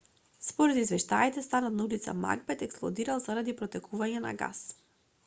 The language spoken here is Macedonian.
според извештаите станот на ул магбет експлодирал заради протекување на гас